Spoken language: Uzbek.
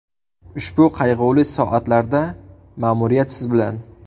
Ushbu qayg‘uli soatlarda ma’muriyat siz bilan.